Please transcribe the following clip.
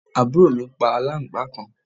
àbúrò mi pa aláǹgbàá kan